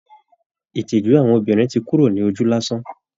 Ìtìjú àwọn obìnrin ti kúrò ní ojú lásán